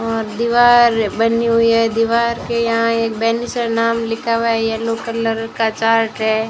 और दीवार बनी हुई है दीवार के यहां एक बेनिसर नाम लिखा हुआ है येलो कलर का चार्ट है।